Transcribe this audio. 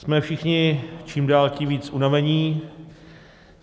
Jsme všichni čím dál tím víc unavení.